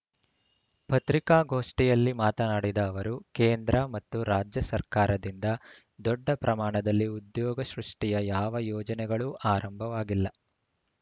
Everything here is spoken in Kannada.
ಪತ್ರಿಕಾಗೋಷ್ಠಿಯಲ್ಲಿ ಮಾತನಾಡಿದ ಅವರು ಕೇಂದ್ರ ಮತ್ತು ರಾಜ್ಯ ಸರ್ಕಾರದಿಂದ ದೊಡ್ಡ ಪ್ರಮಾಣದಲ್ಲಿ ಉದ್ಯೋಗ ಸೃಷ್ಟಿಯ ಯಾವ ಯೋಜನೆಗಳೂ ಆರಂಭವಾಗಿಲ್ಲ